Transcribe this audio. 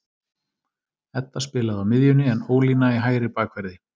Edda spilaði á miðjunni en Ólína í hægri bakverði.